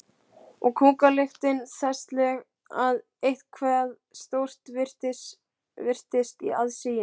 Og kúkalyktin þessleg að eitthvað stórt virtist í aðsigi.